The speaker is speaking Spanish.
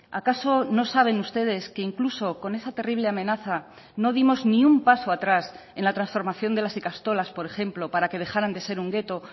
acaso no saben ustedes que incluso con esa terrible amenaza no dimos ni un paso atrás en la transformación de las ikastolas por ejemplo para que dejaran de ser un gueto